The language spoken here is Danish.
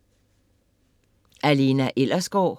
Af Lena Ellersgaard